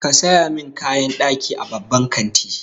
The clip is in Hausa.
Ka saya min kayan ɗaki a babban kanti.